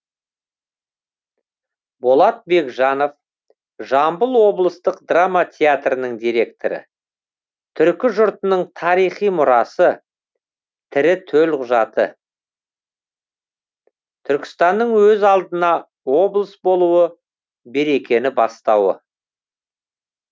болат бекжанов жамбыл облыстық драма театрдың директоры түркі жұртының тарихи мұрасы тірі төлқұжаты түркістанның өз алдына облыс болуы берекені бастауы